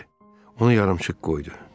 Onu yarımçıq qoydu.